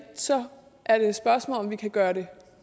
så er det et spørgsmål om vi kan gøre det